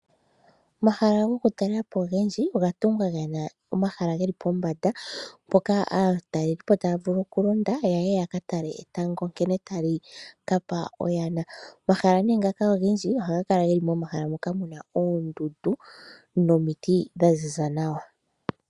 Omahala gokutalela po ogendji oga tungwa ge na omahala ge li pombanda, mpoka aatalelipo taya vulu okulonda ya ye ya ka tale nkene etango tali ka pa oyana. Omahala ngaka ogendji ohaga kala momahala mpoka mu na oondundu nomiti dha ziza nawa.